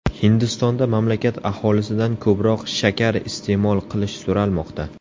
Hindistonda mamlakat aholisidan ko‘proq shakar iste’mol qilish so‘ralmoqda.